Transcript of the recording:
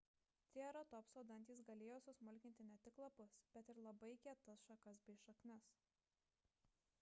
trieratopso dantys galėjo susmulkinti ne tik lapus bet ir labai kietas šakas bei šaknis